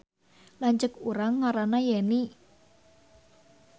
Lanceuk urang ngaranna Yeni